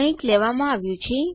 કંઈક લેવામાં આવ્યું છે